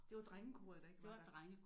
Det var drengekoret der ikke var der